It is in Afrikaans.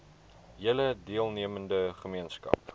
hele deelnemende gemeenskap